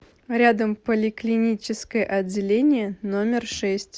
рядом поликлиническое отделение номер шесть